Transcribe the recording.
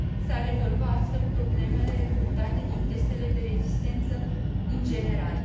S ar rezolva astfel problemele rezultate din testele de rezistență în general.